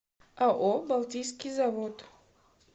ао балтийский завод